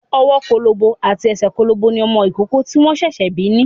Ọwọ́ kólóbó àti ẹsẹ̀ kólóbó ni ọmọ ìkókó tí wọ́n ṣẹ̀ṣẹ̀ bí ni.